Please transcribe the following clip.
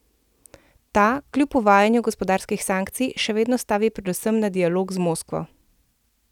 Ta, kljub uvajanju gospodarskih sankcij, še vedno stavi predvsem na dialog z Moskvo.